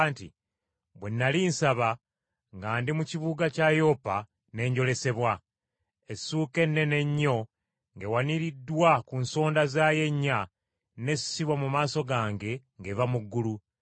nti, “Bwe nnali nsaba, nga ndi mu kibuga kya Yopa, ne njolesebwa. Essuuka ennene ennyo ng’ewaniriddwa ku nsonda zaayo ennya, n’essibwa mu maaso gange ng’eva mu ggulu.